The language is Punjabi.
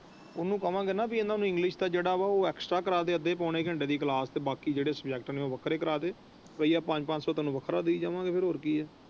ਉਹਨੂੰ ਕਵਾਂ ਗਏ ਨਾ ਇਹਨਾਂ ਨੂੰ ਇੰਗਲਿਸ਼ ਦਾ ਜਿਹੜਾ ਹੈ ਵਾ ਉਹ ਕਰਾ ਦੇ ਅੱਧੇ ਪੂਨੇ ਘੰਟੇ ਦੀ ਕਲਾਸ ਤੇ ਬਾਕੀ ਜਿਹੜੇ ਸੁਬਜੇਕ੍ਟ ਤੇ ਉਹ ਵੱਖਰੇ ਕਰਾ ਦੇ ਰੁਪਈਆ ਪੰਜ ਪੰਜ ਸੋ ਵੱਖਰਾ ਦਾਇ ਜਾਵੇਗੇ ਹੋਰ ਕਿ ਹੈ।